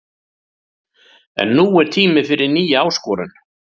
En nú er tími fyrir nýja áskorun.